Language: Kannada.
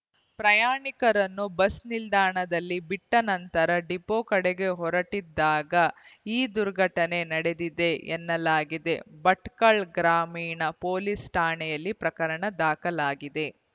ಪ್ರಯಾಣಿಕರನ್ನು ಬಸ್‌ ನಿಲ್ದಾಣದಲ್ಲಿ ಬಿಟ್ಟನಂತರ ಡಿಪೋದ ಕಡೆಗೆ ಹೊರಟಿದ್ದಾಗ ಈ ದುರ್ಘಟನೆ ನಡೆದಿದೆ ಎನ್ನಲಾಗಿದೆ ಭಟ್ಕಳ ಗ್ರಾಮೀಣ ಪೊಲೀಸ್‌ ಠಾಣೆಯಲ್ಲಿ ಪ್ರಕರಣ ದಾಖಲಾಗಿದೆ